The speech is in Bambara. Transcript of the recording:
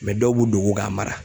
dɔw b'u dogo ka mara.